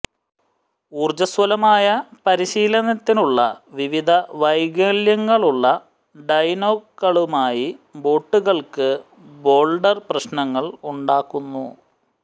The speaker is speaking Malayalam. ഊർജ്ജസ്വലമായ പരിശീലനത്തിനുള്ള വിവിധ വൈകല്യങ്ങളുള്ള ഡൈനോകളുമായി ബോട്ടുകൾക്ക് ബോൾഡർ പ്രശ്നങ്ങൾ ഉണ്ടാക്കുന്നു